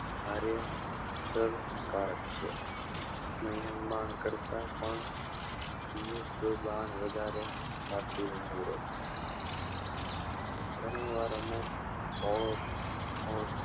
અરેસરકાર છે નયન બાણ કરતા પણ વધારે કાતિલ નીવડે છે ગણી વાર અમુક હોય